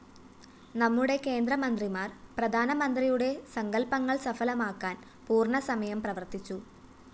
നമ്മുടെ കേന്ദ്ര മന്ത്രിമാര്‍ പ്രധാനമന്ത്രിയുടെ സങ്കല്‍പ്പങ്ങള്‍ സഫലമാക്കാന്‍ പൂര്‍ണ്ണസമയം പ്രവര്‍ത്തിച്ചു